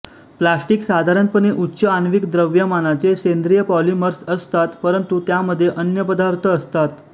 plastic साधारणपणे उच्च आण्विक द्रव्यमानाचे सेंद्रिय पॉलिमर्स असतात परंतु त्यामध्ये अन्य पदार्थ असतात